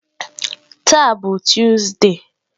Taa bụ Tuzde.